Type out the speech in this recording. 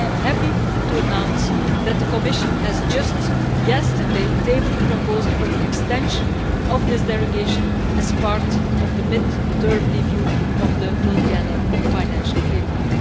I am happy to announce that the Commission just yesterday tabled a proposal for the extension of this derogation as part of the mid-term review of the multiannual financial framework.